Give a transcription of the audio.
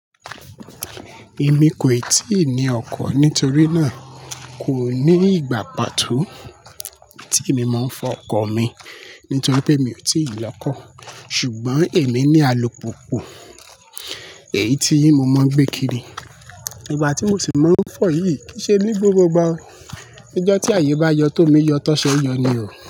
Èmi kò ì tíì ní ọkọ̀ nítorí náà, kò ní ìgbà pa tó tíì mo máa ń fọ ọkọ̀ mi nítorí pé mi ò tíì lọ kọ́. Ṣùgbọ́n èmi ní alùpùpù èyí tí mo máa ń gbé kiri. Ìgbà tí mo sì máa ń fọ̀ yìí kì í ṣe ní gbogbo ìgbà o. Ijọ́ tí ààyè bá yọ tò mí yọ tó ṣe yọ ni o.